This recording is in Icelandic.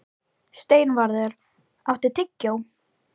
Steinvarður, áttu tyggjó?